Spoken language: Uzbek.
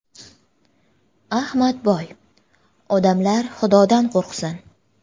Ahmadboy: Odamlar xudodan qo‘rqsin.